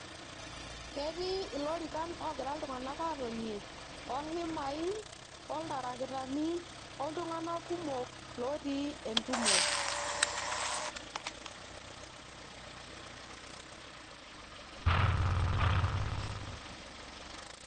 Ketii ilorikan ogira iltunganak aatonie, ohimai, oltarakitani, oltunganak kumok lootii entumo